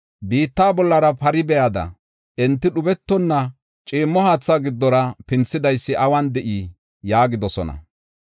Biitta bollara pari biyada enti dhubetonna ciimmo haatha giddora pinthidaysi awun de7ii?” yaagidosona.